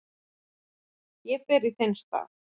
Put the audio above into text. Ég fer í þinn stað